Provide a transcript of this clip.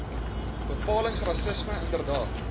bepalings rassisme inderdaad